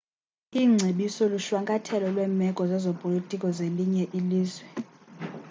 iingcebiso lushwankathelo lweemeko zezopolitiko zelinye ilizwe